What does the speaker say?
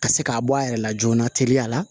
Ka se k'a bɔ a yɛrɛ la joona teliya la